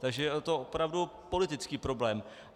Takže je to opravdu politický problém.